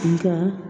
Nka